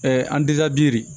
an